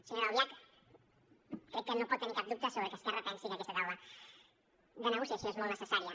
senyora albiach crec que no pot tenir cap dubte sobre que esquerra pensi que aquesta taula de negociació és molt necessària